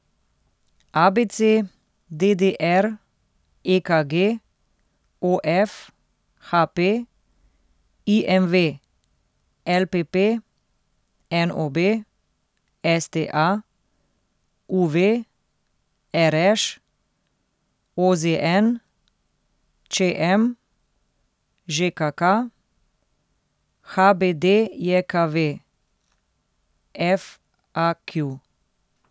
A B C; D D R; E K G; O F; H P; I M V; L P P; N O B; S T A; U V; R Š; O Z N; Č M; Ž K K; H B D J K V; F A Q.